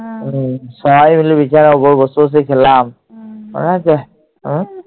সবাই মিলে বিছানার ওপর বসে বসে খেলাম। মনে আছে?